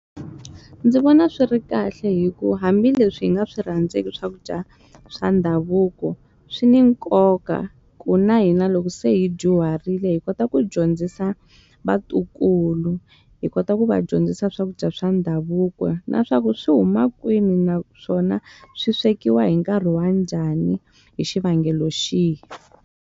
Ndzi vona swi ri kahle hikuva hambileswi hi nga swi rhandzeki swakudya swa ndhavuko, swi ni nkoka ku na hina loko se hi dyuharile hi kota ku dyondzisa vatukulu. Hi kota ku va dyondzisa swakudya swa ndhavuko na swa ku swi huma kwini naswona swi swekiwa hi nkarhi wa njhani hi xivangelo xihi.